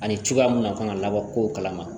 Ani cogoya mun na a kan ka labɔ kow kalama